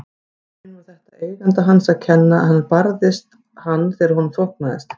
Í raun var þetta eiganda hans að kenna en hann barði hann þegar honum þóknaðist.